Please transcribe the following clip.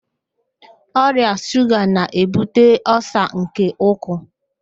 Ọrịa shuga na-ebute ọlsa nke ụkwụ